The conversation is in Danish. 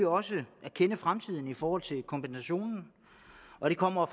også at kende fremtiden i forhold til kompensationen og det kommer